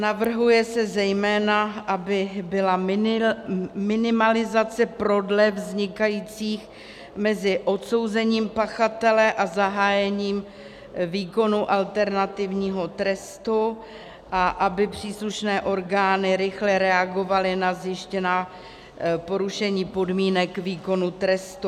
Navrhuje se zejména, aby byla minimalizace prodlev vznikajících mezi odsouzením pachatele a zahájením výkonu alternativního trestu a aby příslušné orgány rychle reagovaly na zjištěná porušení podmínek výkonu trestu.